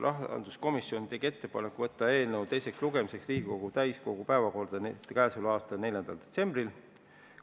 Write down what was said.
Rahanduskomisjon tegi ettepaneku võtta eelnõu teiseks lugemiseks Riigikogu täiskogu päevakorda k.a 4. detsembril.